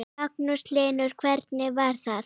Magnús Hlynur: Hvernig var það?